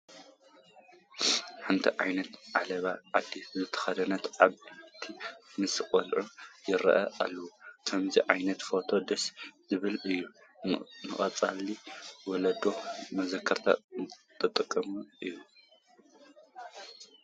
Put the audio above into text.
ሓደ ዓይነት ዓለባ ዓዲ ዝተኸደኑ ዓበይቲ ምስ ቆልዑ ይርአዩ ኣለዉ፡፡ ከምዚ ዓይነት ፎቶ ደስ ዝብል እዩ፡፡ ንቀፃሊ ወለዶ መዘክርነት ጠቓሚ እዩ፡፡